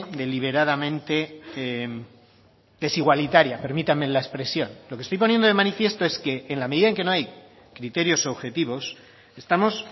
deliberadamente desigualitaria permítanme la expresión lo que estoy poniendo de manifiesto es que en la medida que no hay criterios objetivos estamos